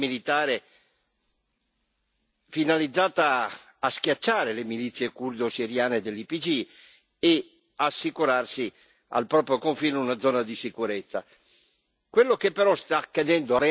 Ora si lancia in un'impresa militare finalizzata a schiacciare le milizie curdo siriane dell'Ypg e ad assicurarsi al proprio confine una zona di sicurezza.